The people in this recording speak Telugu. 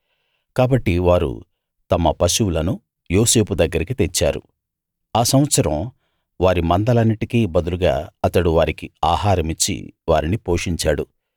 కాబట్టి వారు తమ పశువులను యోసేపు దగ్గరికి తెచ్చారు ఆ సంవత్సరం వారి మందలన్నిటికి బదులుగా అతడు వారికి ఆహారమిచ్చి వారిని పోషించాడు